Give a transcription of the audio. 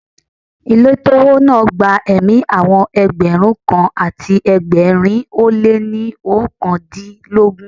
Ilé tó wó náà gba ẹ̀mí àwọn Ẹgbẹ̀rún kan àti ẹgbẹ̀rin ó lé ní oókan dín lógún.